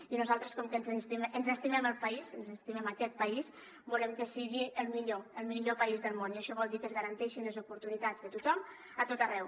i nosaltres com que ens estimem el país ens estimem aquest país volem que sigui el millor el millor país del món i això vol dir que es garanteixin les oportunitats de tothom a tot arreu